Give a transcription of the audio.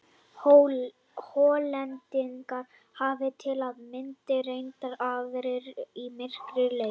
Hollendingar hafa til að mynda reynt aðra og mýkri leið.